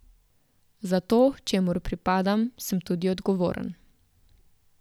Za to, čemur pripadam, sem tudi odgovoren.